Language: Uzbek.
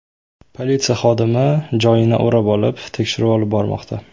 Politsiya hodisa joyini o‘rab olib, tekshiruv olib bormoqda.